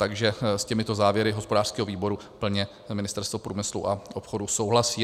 Takže s těmito závěry hospodářského výboru plně Ministerstvo průmyslu a obchodu souhlasí.